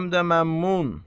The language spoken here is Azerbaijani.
Həm də məmmun.